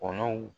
Kɔnɔw